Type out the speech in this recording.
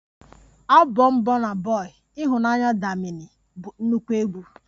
Abọm bọna bọi""Ịhụnanya, damini"" bụ nnukwu egwu